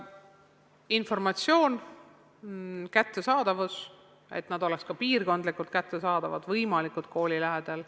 Informatsioon, kättesaadavus, et nad oleks ka piirkondlikult kättesaadavad, võimalikult kooli lähedal.